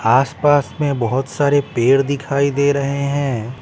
आस-पास में बहुत सारे पेड़ दिखाई दे रहे हैं ।